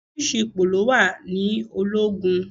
Oríṣiríṣi ipò ló wà ní ológun.